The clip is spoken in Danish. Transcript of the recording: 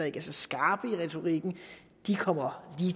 ikke er så skarpe i retorikken kommer